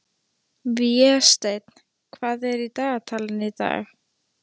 Vésteinn, hvað er í dagatalinu í dag?